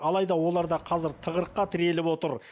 алайда олар да қазір тығырыққа тіреліп отыр